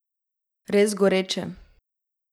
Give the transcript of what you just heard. Res goreče.